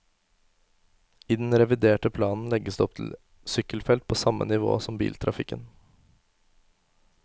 I den reviderte planen legges det opp til sykkelfelt på samme nivå som biltrafikken.